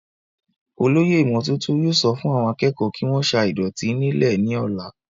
olóyè ìmọ́tótó yóò sọ fún àwọn akẹ́kọ̀ọ́ kí wọ́n sa ìdọ̀tí nílẹ̀ ní ọ̀la